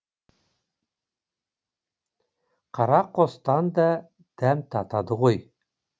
қара қостан да дәм татады ғой